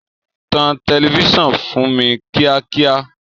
Tan tẹlifíṣàn fún mi kíákíá!